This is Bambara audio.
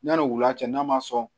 Yanni wula cɛ n'a ma sɔn